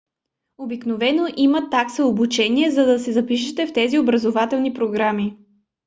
обикновено има такса обучение за да се запишете в тези образователни програми